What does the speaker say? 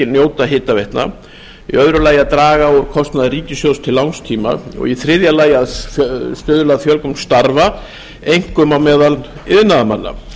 njóta hitaveitna annars að draga úr kostnaði ríkissjóðs til langs tíma þriðja að stuðla að fjölgun starfa einkum á meðal iðnaðarmanna